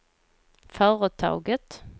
företaget